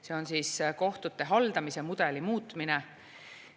See on kohtute haldamise mudeli muutmine.